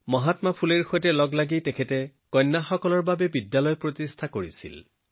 মহাত্মা ফুলেজীৰ লগতে ছোৱালীৰ বাবে কেইবাখনো বিদ্যালয় নিৰ্মাণ কৰিছিল